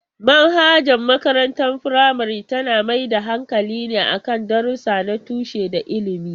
Manhajar makarantar firamare tana mai da hankali ne kan darussa na tushe da ilimi.